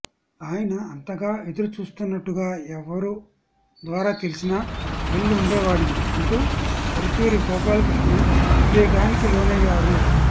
ఆయన అంతగా ఎదురుచూస్తున్నట్టుగా ఎవరి ద్వారా తెలిసినా వెళ్లి ఉండేవాడిని అంటూ పరుచూరి గోపాలకృష్ణ ఉద్వేగానికి లోనయ్యారు